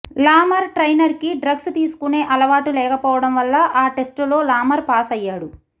లామర్ ట్రైనర్కి డ్రగ్స్ తీసుకునే అలవాటు లేకపోవడం వల్ల ఆ టెస్టులో లామర్ పాస్ అయ్యాడు